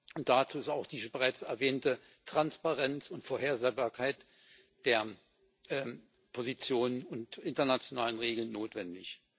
Und dazu ist auch die bereits erwähnte Transparenz und Vorhersehbarkeit der Positionen und internationalen Regeln notwendig.